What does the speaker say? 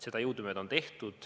Seda on jõudumööda tehtud.